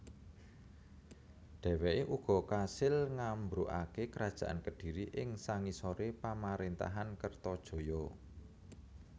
Dhèwèké uga kasil ngambrukaké Kerajaan Kediri ing sangisoré pamaréntahan Kertajaya